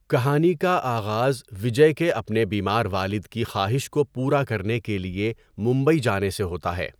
کہانی کا آغاز وجے کے اپنے بیمار والد کی خواہش کو پورا کرنے کے لیے ممبئی جانے سے ہوتا ہے۔